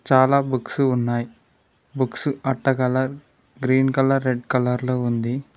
చాలా బుక్స్ ఉన్నాయి బుక్స్ అట్టగలరు గ్రీన్ కలర్ రెడ్ కలర్ లో ఉంది.